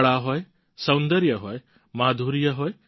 કળા હોય સૌદર્ય હોય માધુર્ય હોય